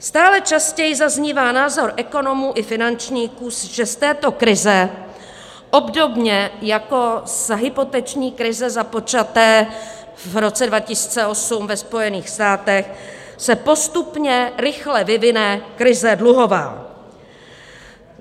Stále častěji zaznívá názor ekonomů i finančníků, že z této krize obdobně jako z hypoteční krize započaté v roce 2008 ve Spojených státech se postupně rychle vyvine krize dluhová.